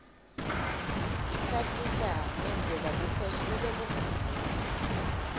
isatisa ngendlela bukhosi lobebungayo